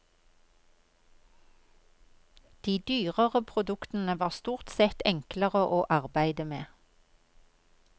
De dyrere produktene var stort sett enklere å arbeide med.